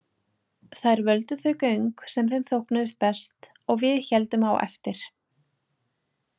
Þær völdu þau göng sem þeim þóknuðust best og við héldum á eftir.